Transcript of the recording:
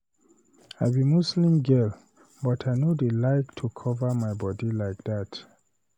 I be Muslim girl but I no dey like to cover my body like dat